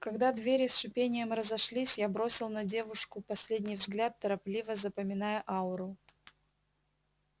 когда двери с шипением разошлись я бросил на девушку последний взгляд торопливо запоминая ауру